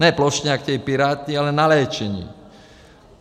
Ne plošně, jak chtějí Piráti, ale na léčení.